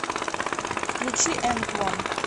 включи энтвон